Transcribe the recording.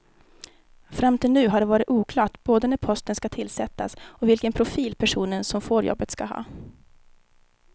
Fram till nu har det varit oklart både när posten ska tillsättas och vilken profil personen som får jobbet ska ha.